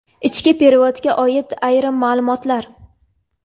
Ichki perevodga oid ayrim maʼlumotlar.